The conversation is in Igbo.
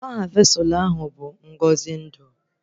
Aha vesụlụ ahụ bụ Ngọzi ndụ